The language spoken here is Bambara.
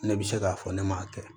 Ne bɛ se k'a fɔ ne m'a kɛ